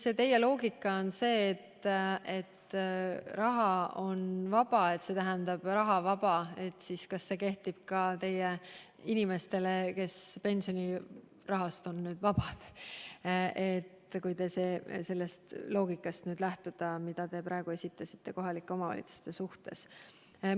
Kui teie loogika on see, et "raha on vaba" tähendab rahavaba, siis kas see kehtib ka nendele inimestele, kes on nüüd pensionirahast vabad – juhul, kui lähtuda sellest loogikast, mida te praegu esitasite kohalike omavalitsuste suhtes?